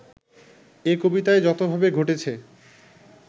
এ কবিতায় যতভাবে ঘটেছে